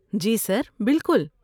جی sir, بالکل۔